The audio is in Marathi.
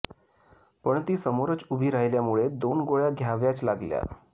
पण ती समोरच उभी राहिल्यामुळे दोन गोळ्या घ्याव्याच लागल्या